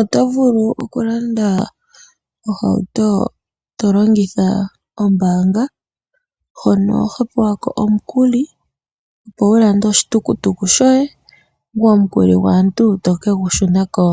Oto vulu okulanda ohauto to longitha ombaanga hono ho pewa ko omukuli, opo wu lande oshitukutuku shoye, ngoye omukuli gwaantu to ke gu shuna ko